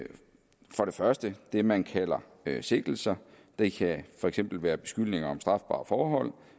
første det man kalder sigtelser det kan for eksempel være beskyldninger om strafbare forhold